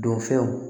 Don fɛnw